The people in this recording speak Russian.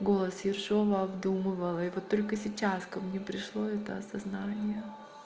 голос ершова обдумывала и вот только сейчас ко мне пришло это осознание